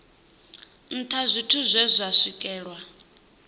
nṱha zwithu zwe zwa swikelelwa